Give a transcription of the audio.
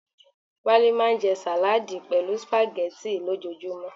Wale maa nje salaadi pelu spaghetti lojoojumo